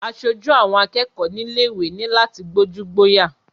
Asojú àwọn akẹ́kọ̀ọ́ nílé ìwé ní láti gbójú-gbóyà.